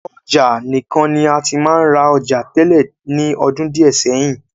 Ọjà nìkan ni a ti máa ń ra ọjà tẹ́lẹ̀ ní ọdún díè sẹ́yìn.